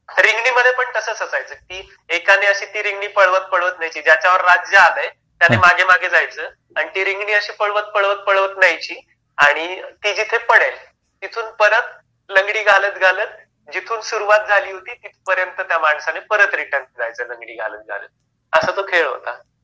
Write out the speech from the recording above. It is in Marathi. रिंगणी मध्ये पण तसंच असायचं की, एकाने अशी ती रिंगनी पळवत पळवत न्यायची ज्याच्यावर राज्य आलाय आणि त्याने मागे मागे जायचा आणि ती जिथपर्यंत अशी पळवत पळवत पळवत न्यायची आणि ती जिथे पडेल तिथून परत लंगडी घालत घालत जिथून सुरुवात झाली होती तिथपर्यंत त्या माणसाने आणि परत रिटर्न जायचं लंगडी घालत घालत असा तो खेळ होता